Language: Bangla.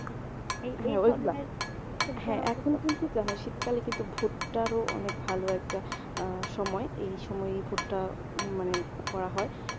দেখো শীতকালে কিন্তু ভুট্টার ও অনেক ভালো একটা অ্যাঁ সময় এই সময় ভুট্টা মানেই করা হয়।